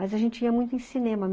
Mas a gente ia muito em cinema.